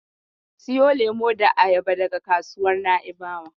Siyo lemo da abaya daga kasuwar Na'ibawa.